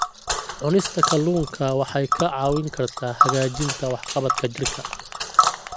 Cunista kalluunka waxay kaa caawin kartaa hagaajinta waxqabadka jidhka.